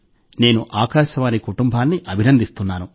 నేను ఆకాశవాణి కుటుంబాన్ని అభినందిస్తున్నాను